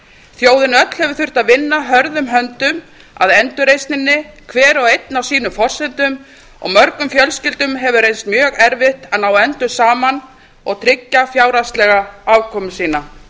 þjóðin öll hefur þurft að vinna hörðum höndum að endurreisninni hver og einn á sínum forsendum og mörgum fjölskyldum hefur reynst mjög erfitt að ná endum saman og tryggja fjárhagslega afkomu sína